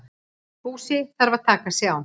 Búsi þarf að taka sig á.